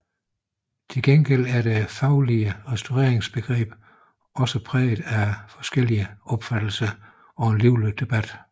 Til gengæld er det faglige restaureringsbegreb også præget af forskellige opfattelser og en livlig debat